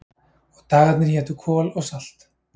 Og dagarnir hétu Kol og Salt